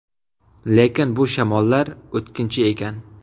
Lekin bu shamollar o‘tkinchi ekan.